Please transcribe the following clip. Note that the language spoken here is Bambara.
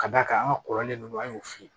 Ka d'a kan an ka kɔrɔlen ninnu an y'o f'i ye